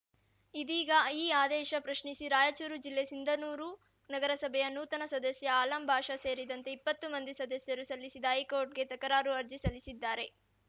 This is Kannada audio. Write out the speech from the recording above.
ಇದೀಗ ಈ ಆದೇಶ ಪ್ರಶ್ನಿಸಿ ರಾಯಚೂರು ಜಿಲ್ಲೆ ಸಿಂಧನೂರು ನಗರಸಭೆಯ ನೂತನ ಸದಸ್ಯ ಆಲಂ ಬಾಷಾ ಸೇರಿದಂತೆ ಇಪ್ಪತ್ತು ಮಂದಿ ಸದಸ್ಯರು ಸಲ್ಲಿಸಿದ್ದ ಹೈಕೋರ್ಟ್‌ಗೆ ತಕಾರರು ಅರ್ಜಿ ಸಲ್ಲಿಸಿದ್ದಾರೆ